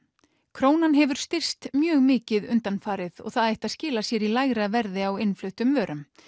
krónan hefur styrkst mjög mikið undanfarið og það ætti að skila sér í lægra verði á innfluttum vörum